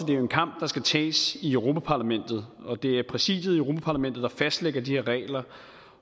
det er en kamp der skal tages i europa parlamentet og det er præsidiet i europa parlamentet der fastlægger de her regler